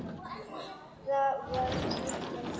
Það var dýrmæt stund.